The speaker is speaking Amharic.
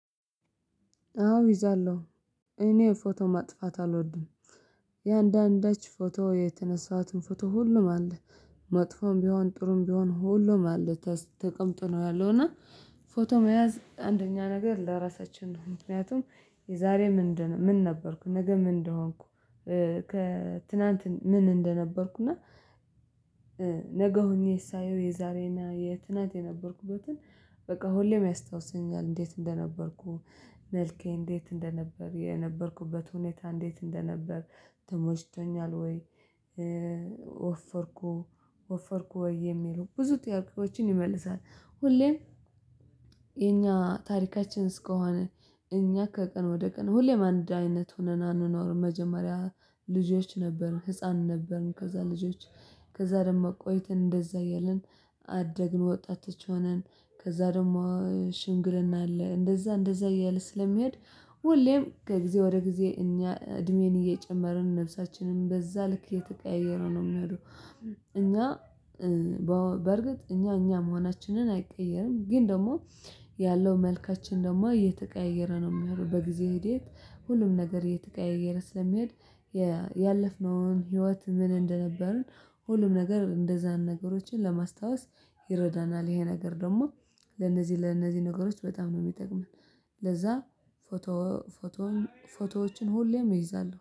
አዎ ይዣለሁ እኔ ፎቶ ማጥፋት አልወድም። የአንዳንዳች ፎቶ የተነሳኋትን ፎቶ ሁሉም አለ መጥፎም ቢሆን ጥሩም ቢሆን ሁሉም አለ ተቀምጦ ነው ያለው። እና ፎቶ መያዝ አንደኛ ነገር ለራሳችን ነው ምክንያቱም የዛሬ ምን ምን ነበርኩ ነገ ምን እንደሆንኩ። ከትላንት ምን እንደነበርኩ እና ነገ ሆኜ ሳየው የዛሬና የትናት የነበርኩበትን በቃ ሁሌም ያስታውሰኛል። እንዴት እንደነበርኩ መልኬ እንዴት እንደነበር የነበርኩበት ሁኔታ እንዴት እንደነበር። ተሞችቶኛል ወይ? ወፈርኩ ወፈርኩ ወይ የሚሉ ብዙ ጥያቄዎችን ይመልሳል። ሁሌም የኛ ታሪካችን እስከሆነ እኛ ከቀን ወደ ቀን ሁሌም አንድ አይነት ሆነን አንኖርም። መጀመሪያ ልጆች ነበርን ህፃን ነበርን ከዛ ልጆች ከዛ ደግሞ ቆይተን እንደዛ እያልን አደግን ወጣት ሆነን ከዛ ደግሞ ሽምግልና አለ እንደዛ እንደዛ እያለ ስለሚሄድ። ሁሌም ከጊዜ ወደ ጊዜ እኛ እድሜን እየጨመርን ነፍሳችንን በዛ ልክ እየተቀያየረ ነው የሚሄደው። እኛ በርግጥ እኛ እኛ መሆናችንን አይቀየርም። ግን ደግሞ ያለው መልካችን ደግሞ እየተቀያየረ ነው የሚሄደው በጊዜ ሂደት ሁሉም ነገር እየተቀያየረ ስለሚሄድ። ያለፍነውን ህይወት ምን እንደነበርን ሁሉም ነገር እንደዛን ነገሮችን ለማስታወስ ይረዳናል። ይሄ ነገር ደግሞ ለነዚህ ለነዚህ ነገሮች በጣም ነው የሚጠቅመን። ለዛ ፎቶ ፎቶ ፎቶዎችን ሁሌም ይይዛሉ